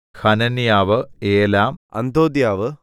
ഹനന്യാവ് ഏലാം അന്ഥോഥ്യാവ്